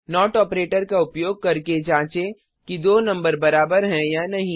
note operator का उपयोग करके जाँचें कि दो नंबर बराबर हैं या नहीं